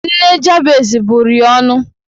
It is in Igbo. Nne Jabez bụrụ ya ọnụ